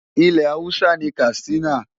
Ilẹ̀ Hausa ni Katsina.